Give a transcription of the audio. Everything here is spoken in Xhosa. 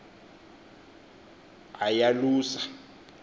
ayalusa